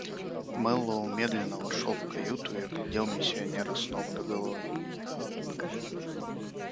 мэллоу медленно вошёл в каюту и оглядел миссионера с ног до головы